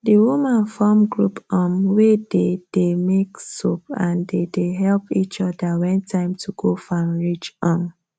the woman form group um wey dey dey make soap and they dey help each other when time to go farm reach um